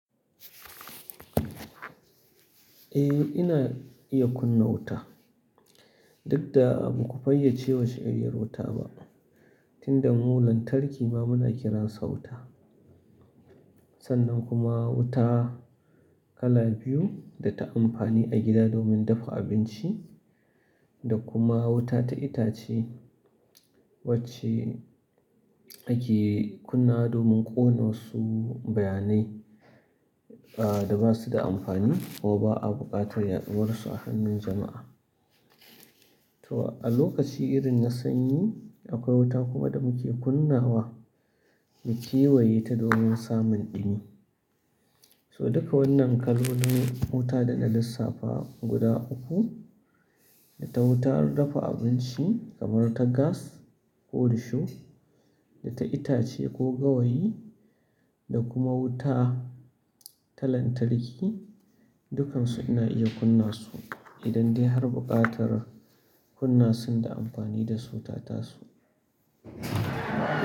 Eh, ina iya kunna wuta. Duk da ba ku fayyace wasu tsayayyar wuta ba, tinda mu lantatarki ma muna kiransa wuta. Sannan kuma wuta kala biyu da ta amfani a gida domin dafa abinci da kuma wuta ta itace wacce ake kunnawa domin ƙona wasu bayanai, ah, da basu da amfani ko ba a buƙatar yaɗuwar su a hannun jama'a. To a lokaci irin na sanyi akwai wuta kuma da muke kunnawa mu kewaye ta domin samun ɗumi. So duka wannan kaloli wuta da na lissafa guda uku, data wutar dafa abinci kamar ta gas ko risho, data itace ko gawayi da kuma wuta ta lantarki, dukansu ina iya kunna su idan dai har buƙatar kunna sun da amfani da su ta taso.